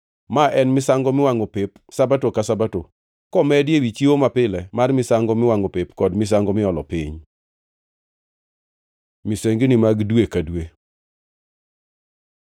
Ma en misango miwangʼo pep Sabato ka Sabato, komedi ewi chiwo mapile mar misango miwangʼo pep kod misango miolo piny. Misengini mag dwe ka dwe